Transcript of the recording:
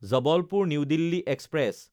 Jabalpur new Delhi express